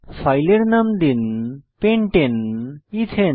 ফাইলের নাম দিন pentane এথানে লিখুন